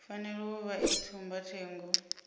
fanela u vha i tsumbathengo